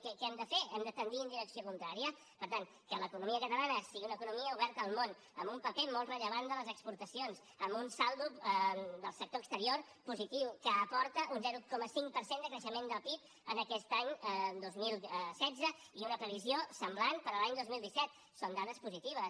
què hem de fer hem de tendir en direcció contrària per tant que l’economia catalana sigui una economia oberta al món amb un paper molt rellevant de les exportacions amb un saldo del sector exterior positiu que aporta un zero coma cinc per cent de creixement del pib aquest any dos mil setze i una previsió semblant per a l’any dos mil disset són dades positives